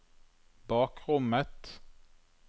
bakrommet